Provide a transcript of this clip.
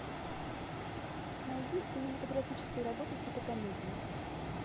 найди кинематографическую работу типа комедии